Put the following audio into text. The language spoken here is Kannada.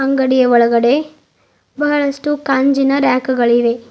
ಅಂಗಡಿಯ ಒಳಗಡೆ ಬಹಳಷ್ಟು ಕಾಂಚಿನ ರ್ಯಾಕ್ ಗಳಿವೆ.